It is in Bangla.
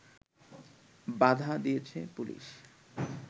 বাধা দিয়েছে পুলিশ